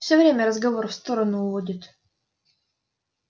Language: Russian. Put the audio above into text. всё время разговор в сторону уводит